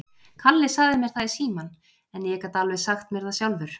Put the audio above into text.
Kalli sagði mér það í símann, en ég gat alveg sagt mér það sjálfur.